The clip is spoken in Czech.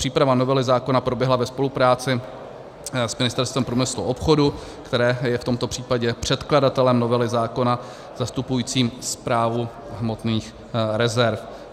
Příprava novely zákona proběhla ve spolupráci s Ministerstvem průmyslu a obchodu, které je v tomto případě předkladatelem novely zákona zastupujícím správu hmotných rezerv.